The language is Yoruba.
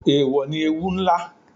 Eèwò ní ewú ńlá